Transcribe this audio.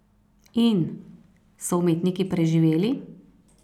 In, so umetniki preživeli?